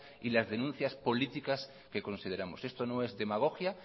y las denuncias políticas que consideramos esto no es demagogia